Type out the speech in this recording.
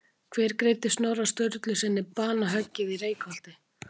Hver greiddi Snorra Sturlusyni banahöggið í Reykholti?